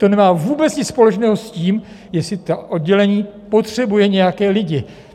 To nemá vůbec nic společného s tím, jestli to oddělení potřebuje nějaké lidi.